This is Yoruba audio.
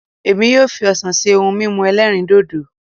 Èmi yóò fi ọsàn ṣe ohun mímu ẹlẹ́rìndòdò